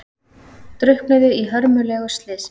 Drukknuðu í hörmulegu slysi